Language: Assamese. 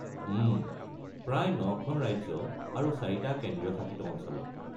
উম, প্ৰায় ৯খন ৰাজ্য আৰু ৪টা কেন্দ্ৰীয় শাসিত অঞ্চলত।